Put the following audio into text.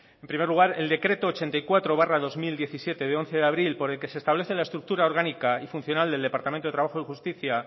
en primer lugar el decreto ochenta y cuatro barra dos mil diecisiete de once de abril por el que se establece la estructura orgánica y funcional del departamento de trabajo y justicia